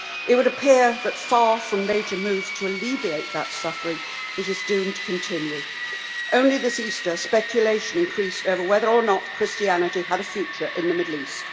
It would appear that, far from major moves being made to alleviate that suffering, it is doomed to continue. Only this Easter, speculation increased over whether or not Christianity had a future in the Middle East.